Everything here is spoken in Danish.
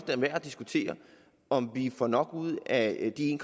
er værd at diskutere om vi får nok ud af de en